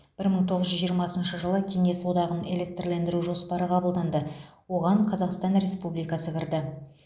бір мың тоғыз жүз жиырмасыншы жылы кеңес одағын электрлендіру жоспары қабылданды оған қазақстан республикасы кірді